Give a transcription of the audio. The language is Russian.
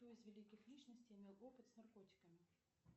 кто из великих личностей имел опыт с наркотиками